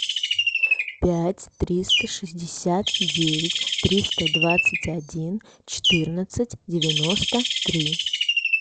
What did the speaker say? пять триста шестьдесят девять триста двадцать один четырнадцать девяносто три